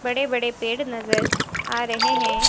बड़े बड़े पेड़ नजर आ रहे हैं।